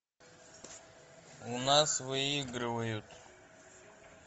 у нас выигрывают